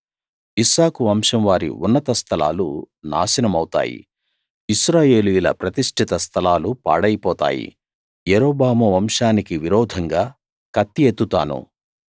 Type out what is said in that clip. ఇస్సాకు వంశం వారి ఉన్నత స్థలాలు నాశనమవుతాయి ఇశ్రాయేలీయుల ప్రతిష్ఠిత స్థలాలు పాడైపోతాయి యరొబాము వంశానికి విరోధంగా కత్తి ఎత్తుతాను